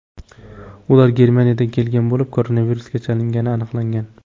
Ular Germaniyadan kelgan bo‘lib, koronavirusga chalingani aniqlangan.